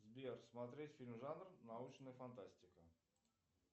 сбер смотреть фильм жанр научная фантастика